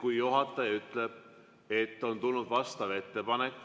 Kui juhataja ütleb, et on tulnud vastav ettepanek,